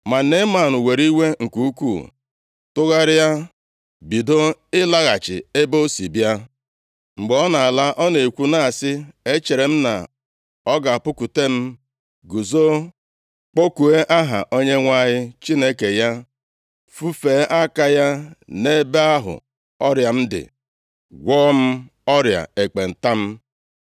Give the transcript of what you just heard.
Ma Neeman were iwe nke ukwuu tụgharịa bido ịlaghachi ebe o si bịa. Mgbe ọ na-ala, ọ na-ekwu na-asị, “Echere m na ọ ga-apụkwute m, guzo, kpọkuo aha Onyenwe anyị Chineke ya, fufee aka ya nʼebe ahụ ọrịa m dị, gwọọ m ọrịa ekpenta m.